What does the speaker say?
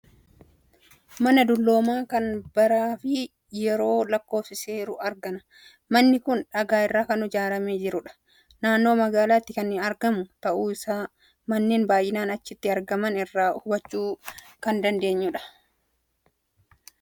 Mana dulloomaa kan baraa fi yeroo lakkoofiseeru argina. Manni kun dhagaa irraa kan ijaaramee jirudha. Naannoo magaalaatti kan argamu ta'uu isaa manneen baay'inaan achitti argaman irraa hubachuu kan dandeenyu dha.